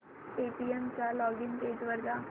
Paytm च्या login page वर जा